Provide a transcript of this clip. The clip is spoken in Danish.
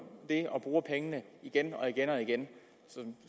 det og bruger pengene igen og igen og igen